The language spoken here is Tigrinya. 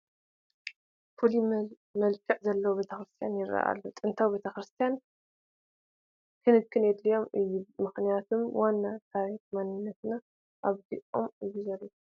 ፍሉይ መልክዕ ዘለዎ ቤተ ክርስቲያን ይርአ ኣሎ፡፡ ጥንታዊ ቤተ ክርስቲያናት ክንክን የድልዮም እዩ፡፡ ምኽንያቱም ዋና ታሪካዊ መንንነትና ኣብኦም እዩ ዘሎ፡፡